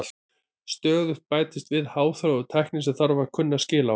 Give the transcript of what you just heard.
Stöðugt bætist við háþróuð tækni sem þarf að kunna skil á.